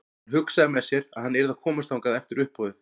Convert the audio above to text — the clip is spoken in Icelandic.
Hann hugsaði með sér að hann yrði að komast þangað eftir uppboðið.